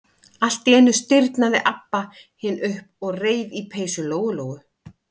Allt í einu stirðnaði Abba hin upp og reif í peysu Lóu-Lóu.